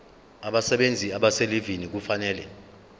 abasebenzi abaselivini kufanele